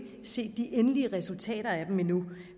set de endelige resultater af dem endnu